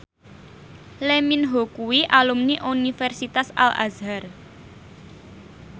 Lee Min Ho kuwi alumni Universitas Al Azhar